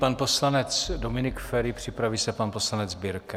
Pan poslanec Dominik Feri, připraví se pan poslanec Birke.